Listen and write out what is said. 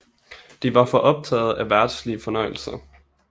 De var for optaget af verdslige fornøjelser